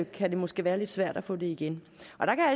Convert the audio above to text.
kan det måske være lidt svært at få det igen